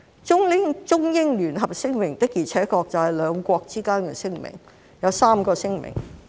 《中英聯合聲明》的確是兩國之間的聲明，當中包含3個聲明。